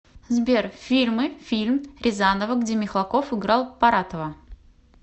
сбер фильмы фильм рязанова где михалков играл паратова